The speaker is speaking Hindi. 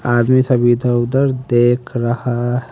आदमी सब इधर उधर देख रहा--